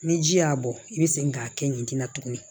Ni ji y'a bɔ i be segin k'a kɛ ɲinan tuguni